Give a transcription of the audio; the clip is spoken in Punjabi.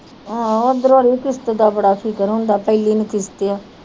ਆਹੋ ਓਧਰੋ ਅੜੀਏ ਕਿਸਤ ਤਾ ਬੜਾ ਫਿਕਰ ਹੁੰਦਾ ਪਹਿਲੀ ਨੂੰ ਕਿਸਟ ਆ।